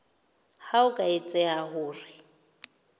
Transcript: ha ho ka etseha hore